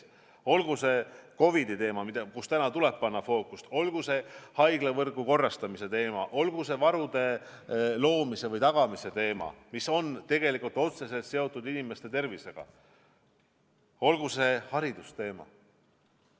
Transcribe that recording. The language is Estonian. Olgu see COVID-i teema, mida täna tuleb fookuses hoida, olgu see haiglavõrgu korrastamise teema, olgu see varude loomise või tagamise teema, mis on otseselt seotud inimeste tervisega, olgu see haridusteema.